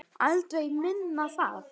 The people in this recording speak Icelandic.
Aldrei minna en það.